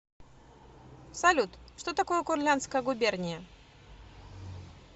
салют что такое курляндская губерния